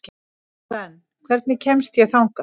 Svend, hvernig kemst ég þangað?